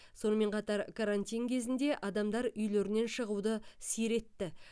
сонымен қатар карантин кезінде адамдар үйлерінен шығуды сиретті